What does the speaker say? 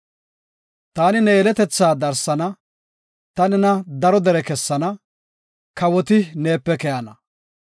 Taani ne yeletetha darsana, ta nena daro dere kessana, kawoti neepe keyana.